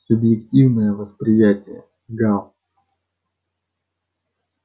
субъективное восприятие гаал